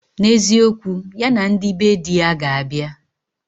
N'eziokwu, ya na ndị be di ya ga abịa